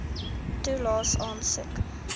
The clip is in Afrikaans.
toelaes aansoek